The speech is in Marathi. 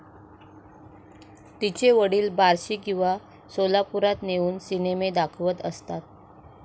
तिचे वडील बार्शी किंवा सोलापुरात नेऊन सिनेमे दाखवत असतात.